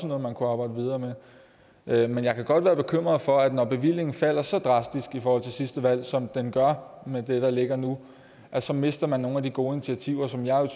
noget man kunne arbejde videre med men jeg kan godt være bekymret for at når bevillingen falder så drastisk i forhold til sidste valg som den gør med det der ligger nu så mister man nogle af de gode initiativer som jeg